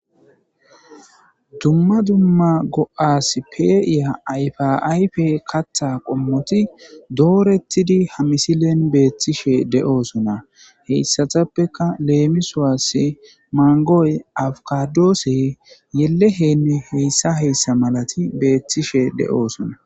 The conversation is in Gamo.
Dumma dumma go'as pe'iya ayfa ayfe kaaththa qommoti dooretidi ha misilen beetishe de'osonna; hesatappeka leemisuwasi mangoy, abkadosey yelle helle hessa hessa malati beetishe de'osonna.